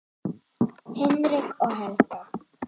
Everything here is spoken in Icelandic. Hinrik og Helga.